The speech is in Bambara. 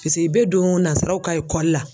i bɛ don ka la.